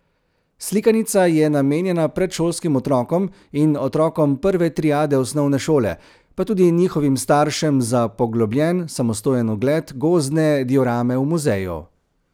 Slikanica je namenjena predšolskim otrokom in otrokom prve triade osnovne šole pa tudi njihovim staršem za poglobljen, samostojen ogled gozdne diorame v muzeju.